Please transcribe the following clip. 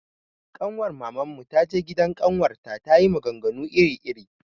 Kanwar Maman mu ta je gidan ƙawarta ta yi maganganu iri iri.